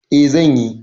Eh, zan yi.